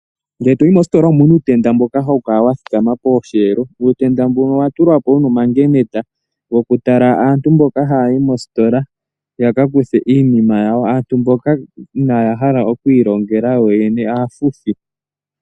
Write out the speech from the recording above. Ngele toyi moositola omuna uutenda mboka hawu kala posheelo wathikama, uutenda mbuka owatulwapo wuna omangenete gokutala aantu mboka hayayi mositola yakakuthe iinima yawo, aantu mboka inaaya hala okwiilongela kuyoyene aafuthi.